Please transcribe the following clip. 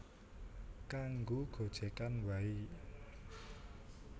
Kanggo gojegan wae